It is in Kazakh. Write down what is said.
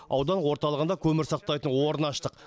аудан орталығында көмір сақтайтын орнын аштық